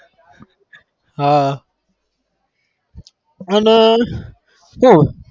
હા અને કોણ?